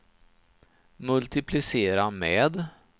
multiplicera med